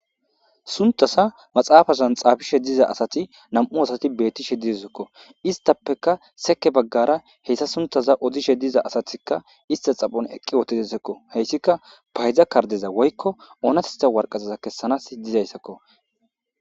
Suntasa maxaafazan xaafishe diza asati nam7u asati beettishe didesekko istappeka seke baggara heyssa suntaza odishe diza asatikka ista xaphon eqqi ootidesekko heyssika paydza kardeza woykko oonatista warqazaza kessanaas dizayssakko.